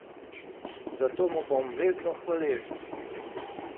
Za to mu bom vedno hvaležen!